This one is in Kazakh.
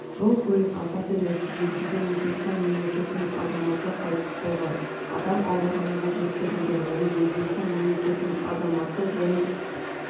жол-көлік апаты нәтижесінде өзбекістан мемлекетінің азаматы қайтыс болған адам ауруханаға жеткізілген оның өзбекістан мемлекетінің азаматы және